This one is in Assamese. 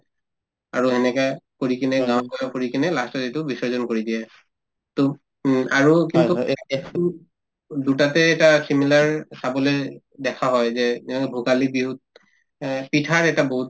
আৰু এনেকে ঘূৰি কিনে গাঁৱত গৈয়ো ঘূৰি কিনে last তত এইটো বিসৰ্জন কৰি দিয়ে to উম আৰু কিন্তু দুয়োটাতে এটা similar চাবলে দেখা হয় যে কিয়নো ভোগালী বিহুত এহ্ পিঠাৰ এটা বহুত